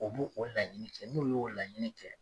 U bo o laɲini kɛ n'u y'o laɲini kɛ